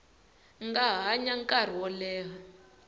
nga hanya nkarhi wo leha